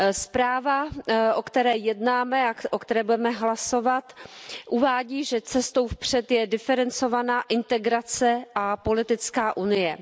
Zpráva, o které jednáme a o které budeme hlasovat, uvádí, že cestou vpřed je diferencovaná integrace a politická unie.